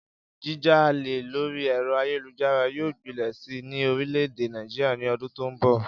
Jíjalè lórí è̩ro̩ ayélujára yóò gbilè̩ si ní orìlè̩-èdè Nàìjíríà ní o̩dún tó ń bò̩